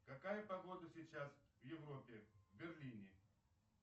какая погода сейчас в европе в берлине